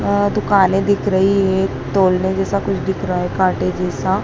आह्ह दुकाने दिख रही है एक तोलने जैसा कुछ दिख रहा है कांटे जैसा --